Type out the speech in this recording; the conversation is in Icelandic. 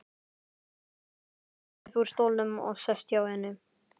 Hann rís upp úr stólnum og sest hjá henni.